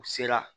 U sera